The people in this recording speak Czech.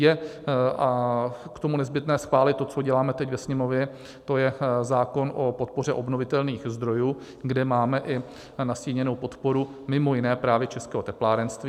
Je k tomu nezbytné schválit to, co děláme teď ve Sněmovně, to je zákon o podpoře obnovitelných zdrojů, kde máme i nastíněnou podporu, mimo jiné právě českého teplárenství.